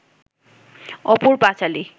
অপুর পাঁচালী